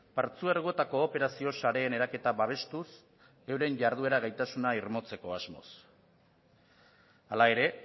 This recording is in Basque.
partzuergoetako operazio sareen eraketa babestuz euren jarduera gaitasuna irmotzeko asmoz hala ere